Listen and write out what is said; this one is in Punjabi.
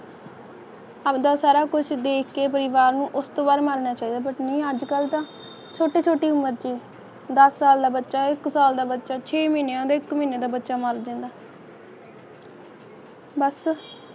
ਆਪਦਾ ਸਾਰਾ ਕੁਝ ਦੇਖ ਕੇ ਪਰਿਵਾਰ ਨੂੰ ਉਸ ਤੋ ਬਾਅਦ ਮਰਨਾ ਚਾਹੀਦਾ ਪਰ ਨਹੀਂ ਅੱਜ ਕੱਲ੍ਹ ਦਾ ਛੋਟੀ ਛੋਟੀ ਉਮਰ ਵਿੱਚ ਹੀ ਦਸ ਸਾਲਾ ਬੱਚਾ ਇਕੱਲਾ ਮੈਂ ਤਰਕਸ਼ੀ ਮਹੀਨਿਆਂ ਦੇ ਧੂੰਏਂ ਦਾ ਬੱਚਾ ਮਰ ਜਾਂਦਾ ਬਸ